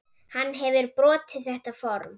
Hann hefur brotið þetta form.